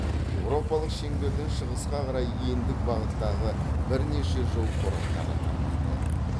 еуропалық шеңберден шығысқа карай ендік бағыттағы бірнеше жол тораптары тармақталады